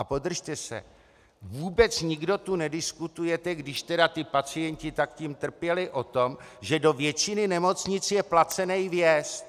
A podržte se: vůbec nikdo tu nediskutujete, když teda ti pacienti tak tím trpěli, o tom, že do většiny nemocnic je placený vjezd.